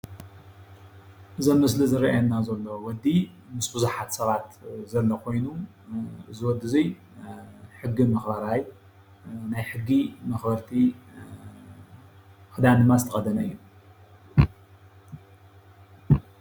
እዚ ኣብ ምስሊ ዝርአየና ዘሎ ወዲ ምስ ቡዙሓት ሰባት ዘሎ ኾይኑ እዙ ወዲ እዙይ ሕጊ መኽበራይ ናይ ሕጊ መኽበርቲ ኽዳን ድማ ዝተኸደነ እዩ።